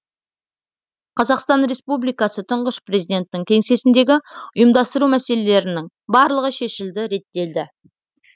қазақстан республикасы тұңғыш президентінің кеңсесіндегі ұйымдастыру мәселелерінің барлығы шешілді реттелді